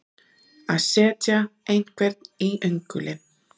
Að setja einhvern í öngulinn